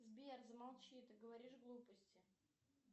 сбер замолчи ты говоришь глупости